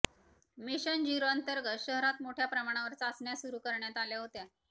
mission झीरोअंतर्गत शहरात मोठ्या प्रमाणावर चाचण्या सुरू करण्यात आल्या होत्या